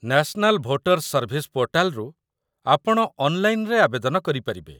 national voter's service ପୋର୍ଟାଲ୍‌ରୁ ଆପଣ ଅନ୍‌ଲାଇନ୍‌‌ରେ ଆବେଦନ କରିପାରିବେ